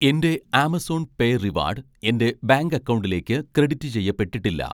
എൻ്റെ Amazon pay reward എൻ്റെ bank അക്കൗണ്ടിലേക്ക് ക്രെഡിറ്റ് ചെയ്യപ്പെട്ടിട്ടില്ല?